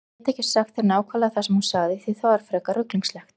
Ég get ekki sagt þér nákvæmlega það sem hún sagði því það var frekar ruglingslegt.